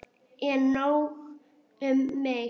En nóg um mig.